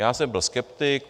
Já jsem byl skeptik.